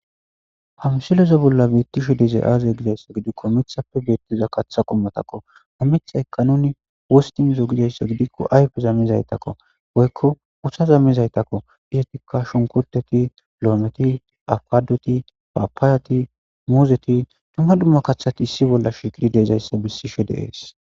Ha misilezo bolla beettishe dizay aaze gidayssa gidikko mithappe beettiza katha qommatakko hammitha eqqanuni wostinzo gidayssa gidikko ayfe zammizaytakko woykko uha zammizaytakko isatikka shonkoteti lo'ometi aqadoti paapaayati muuzeti tuma dumma kathati issi bolla shikiri deezayssa bissishe de'ees.